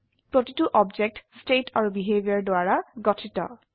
প্ৰতিটো object state আৰু behaviour দ্বাৰা গঠিত